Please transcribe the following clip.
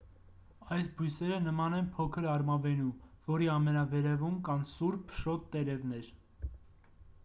այս բույսերը նման են փոքր արմավենու որի ամենավերևում կան սուր փշոտ տերևներ